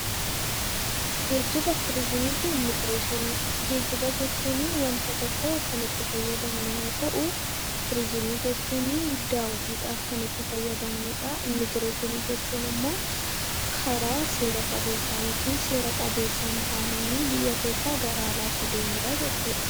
Geejjiba, Turizimii fi Immigireeshinii Geejjiba jechuunii wanta tokko kan itti fayyadamnu yoo ta'u, turizimii jechuunii daawwiidhaaf kan itti fayyadamnu dha. Immigireeshinii jechuun immoo karaa seera qabeessaa yookiin seera qabeessa hin taaneenii biyya keessaa gara alaatti deemuu dhaa jechuu dha.